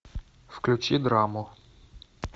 включи драму